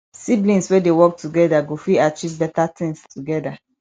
siblings wey dey work together go fit achieve better things together